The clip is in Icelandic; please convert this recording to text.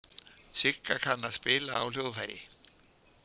Sigga kann að spila á hljóðfæri.